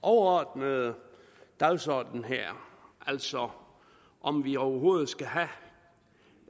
overordnede dagsorden her altså om vi overhovedet skal